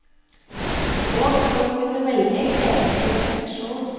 Og for å kunne velge kreves det refleksjon.